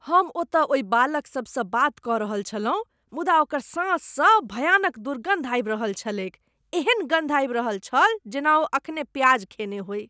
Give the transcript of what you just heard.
हम ओतय ओहि बालक सभसँ बात कऽ रहल छलहुँ मुदा ओकर साँस सँ भयानक दुर्गन्ध आबि रहल छलैक । एहन गन्ध आबि रहल छल जेना ओ एखने प्याज खेने होइ ।